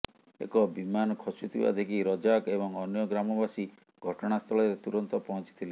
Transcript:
ଏକ ବିମାନ ଖସୁଥିବା ଦେଖି ରଜାକ୍ ଏବଂ ଅନ୍ୟ ଗ୍ରାମବାସୀ ଘଟଣାସ୍ଥଳରେ ତୁରନ୍ତ ପହଞ୍ଚିଥିଲେ